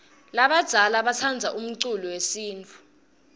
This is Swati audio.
labadzala batsandza umculo yesintfu